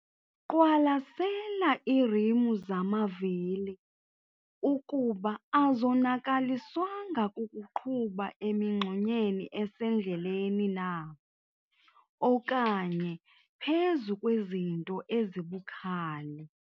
Qwalasela iirimu zamavili ukuba azonakaliswanga kukuqhuba emingxunyeni esendleleni na okanye phezu kwezinto ezibukhali.